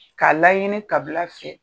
K'a laɲini kabila fɛ.